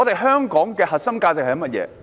香港的核心價值是甚麼？